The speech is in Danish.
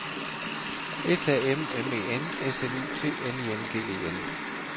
S A M M E N S L U T N I N G E N